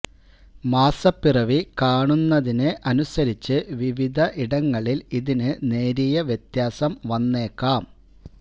മാസപ്പിറവി കാണുന്നതിന് അനുസരിച്ച് വിവിധ ഇടങ്ങളിൽ ഇതിന് നേരിയ വ്യത്യാസം വന്നേക്കാം